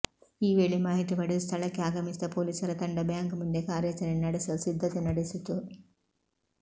ಈ ವೇಳೆ ಮಾಹಿತಿ ಪಡೆದು ಸ್ಥಳಕ್ಕೆ ಆಗಮಿಸಿದ ಪೊಲೀಸರ ತಂಡ ಬ್ಯಾಂಕ್ ಮುಂದೆ ಕಾರ್ಯಾಚರಣೆ ನಡೆಸಲು ಸಿದ್ಧತೆ ನಡೆಸಿತ್ತು